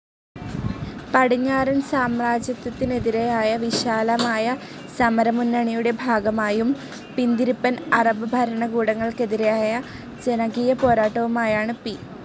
പടിഞ്ഞാറൻ സാമ്രാജ്യത്വത്തിനെതിരായ വിശാലമായ സമരമുന്നണിയുടെ ഭാഗമായും, പിന്തിരിപ്പൻ അറബ് ഭരണകൂടങ്ങൾക്കെതിരായ ജനകീയപോരാട്ടവുമായാണ്‌ പി.